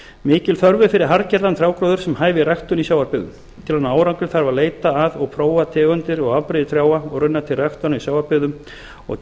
mikil þörf er fyrir harðgerðan trjágróður sem hæfir ræktun í sjávarbyggðum til að ná árangri þarf að leita að og prófa tegundir og afbrigði trjáa og runna til ræktunar í sjávarbyggðum og